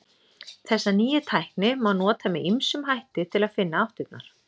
Þessa nýju tækni má nota með ýmsum hætti til að finna áttirnar.